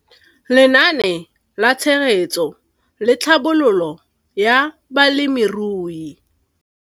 Lenaane la Tshegetso le Tlhabololo ya Balemirui.